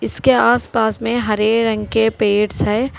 इसके आसपास में हरे रंग के पेड़ हैं।